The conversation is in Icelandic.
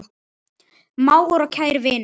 Mágur og kær vinur.